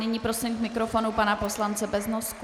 Nyní prosím k mikrofonu pana poslance Beznosku.